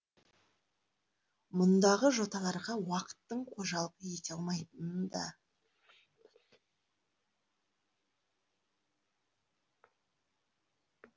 мұндағы жоталарға уақыттың қожалық ете алмайтынын да